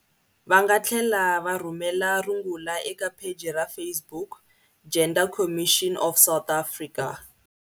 Va nga tlhela va rhumela rungula eka pheji ra Facebook- Gender Commission of South Africa.